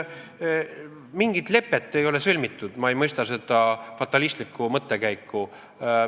Mingit lepet ei ole sõlmitud, ma ei mõista seda fatalistlikku mõttekäiku.